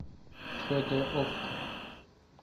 хд окко